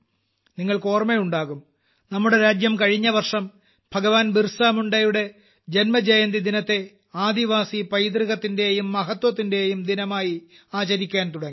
നിങ്ങൾക്ക് ഓർമ്മയുണ്ടാകും നമ്മുടെ രാജ്യം കഴിഞ്ഞ വർഷം ഭഗവാൻ ബിർസാമുണ്ടായുടെ ജന്മജയന്തിദിനത്തെ ആദിവാസി പൈതൃകത്തിന്റെയും മഹത്വത്തിന്റെയും ദിനമായി ആചരിക്കാൻ തുടങ്ങി